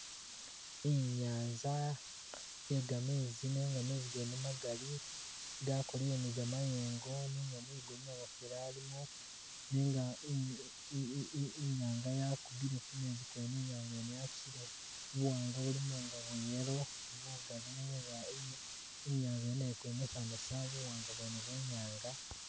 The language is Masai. Inyanza iye gamezi nenga mezi gene magali gakolele ni gamayengo nenga mwigulu namufeeli alimo, nenga iny i- i- inyanga yakubile ku mezi kwene,i nyanga yene yatusile buwanga bulimu nga bwa yellow bugali nenga inza- i- inyanza nayemo iko emasamasa bu buwanga bwene bwenyanza